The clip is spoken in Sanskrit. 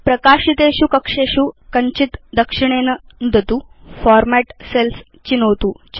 प्रकाशितेषु कक्षेषु कञ्चित् दक्षिणेन नुदतु फॉर्मेट् सेल्स् चिनोतु च